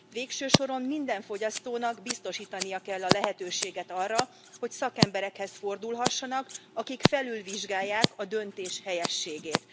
Végső soron minden fogyasztónak biztosítani kell a lehetőséget arra, hogy szakemberekhez fordulhassanak, akik felülvizsgálják a döntés helyességét.